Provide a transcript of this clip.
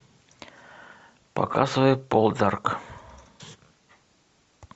показывай полдарк